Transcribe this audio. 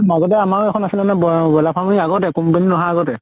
মাজতে আমাৰো এখন আছিলে নহয় বহ ব্ৰইলাৰ farm সেই আগতে company আহা আগতে